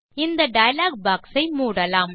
இந்த dialog box ஐ மூடலாம்